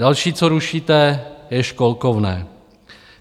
Další, co rušíte, je školkovné.